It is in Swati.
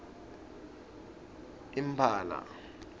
imphala